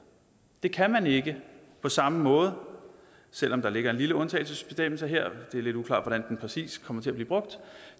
det kan man ikke på samme måde selv om der ligger en lille undtagelsesbestemmelse her det er lidt uklart hvordan den præcis kommer til at blive brugt